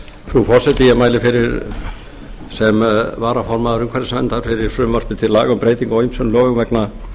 frú forseti ég mæli sem varaformaður umhverfisnefndar fyrir frumvarpi til laga um breytingu á ýmsum lögum vegna